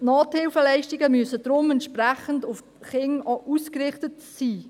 Nothilfeleistungen müssen daher entsprechend auf Kinder ausgerichtet sein.